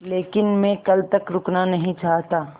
लेकिन मैं कल तक रुकना नहीं चाहता